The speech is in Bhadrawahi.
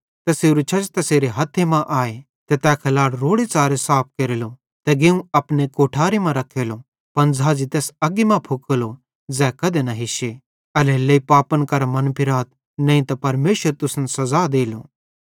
तैसेरू छज्ज तैसेरे हथ्थे मां आए ते तै खलाड़ रोड़ेच़ारे साफ केरेलो तै गेहुं अपने कोठारे मां रखेलो पन झ़ाझ़ी तैस अग्गी मां फुकेलो ज़ै कधे न हिश्शे एल्हेरेलेइ पापन करां मनफिराथ नईं त परमेशर तुसन सज़ा देलो